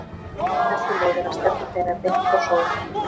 Af þessu leiðir að stefna þeirra er beint frá sól.